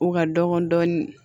U ka dɔgɔn dɔɔni